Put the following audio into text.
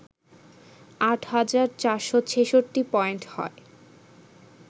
৮ হাজার ৪৬৬ পয়েন্ট হয়